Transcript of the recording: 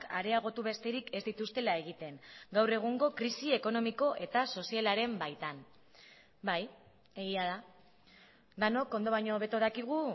areagotu besterik ez dituztela egiten gaur egungo krisi ekonomiko eta sozialaren baitan bai egia da denok ondo baino hobeto dakigu